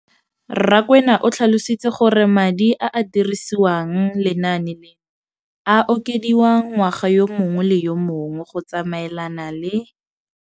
Rakwena o tlhalositse gore madi a a dirisediwang lenaane leno a okediwa ngwaga yo mongwe le yo mongwe go tsamaelana le